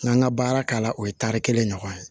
N ka n ka baara k'a la o ye tari kelen ɲɔgɔn ye